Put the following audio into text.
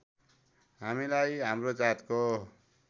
हामीलाई हाम्रो जातको